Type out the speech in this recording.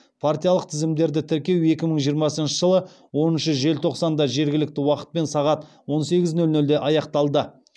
партиялық тізімдерді тіркеу екі мың жиырмасыншы жылы оныншы желтоқсанда жергілікті уақытпен сағат он сегіз нөл нөлде де аяқталды